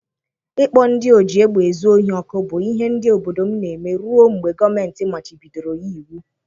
Ịkpọ ndị oji egbe ezu ohi ọkụ bụ ihe ndị obodo m na-eme ruo mgbe gọọmenti machibidoro ya iwu.